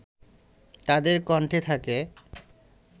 তাদের কণ্ঠে থাকে